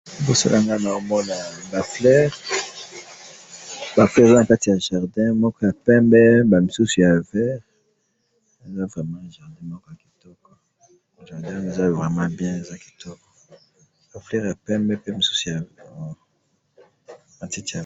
liboso na ngai, nazo mona ba fleurs, ba fleurs oyo eza na kati ya jardin, moko ya pembe ba misusu ya vert, non vraiment jardin moko ya kitoko, jardin oyo eza vraiment bien, eza kitoko, ba fleurs ya pembe pembe, mosusu ya matiti ya vert